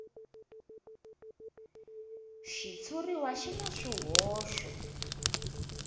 xitshuriwa xi na swihoxo